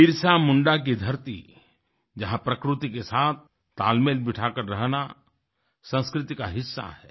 बिरसा मुंडा की धरती जहाँ प्रकृति के साथ तालमेल बिठाकर रहना संस्कृति का हिस्सा है